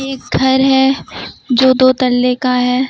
एक घर है जो दो तल्ले का है।